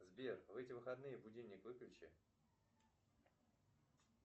сбер в эти выходные будильник выключи